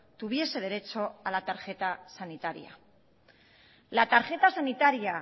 tuviese derecho a la tarjeta sanitaria la tarjeta sanitaria